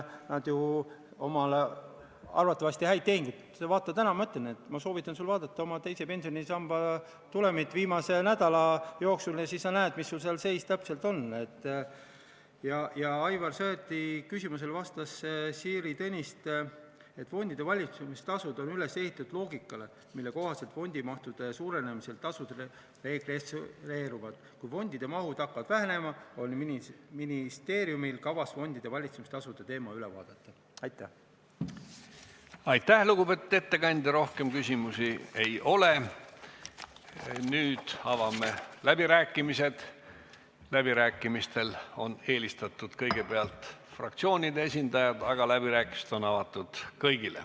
Vabariigi aastapäeval küsis president: "Millega sa tegeled, armas Riigikogu?